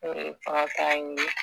N'o ye kɔnɔta ɲini